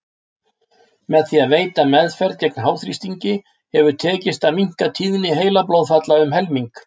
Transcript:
Með því að veita meðferð gegn háþrýstingi hefur tekist að minnka tíðni heilablóðfalla um helming.